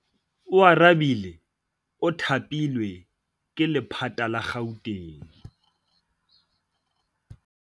Oarabile o thapilwe ke lephata la Gauteng.